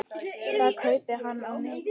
Það kaupi hann á netinu.